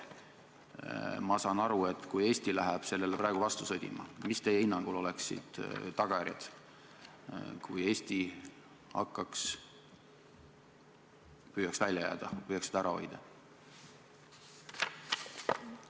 Aga kui Eesti läheb praegu Euroopa vaatele vastu sõdima, siis mis teie hinnangul oleksid tagajärjed, kui Eesti püüaks välja jääda, püüaks seda ära hoida?